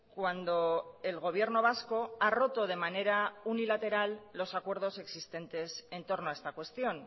cuando el gobierno vasco ha roto de manera unilateral los acuerdos existentes entorno a esta cuestión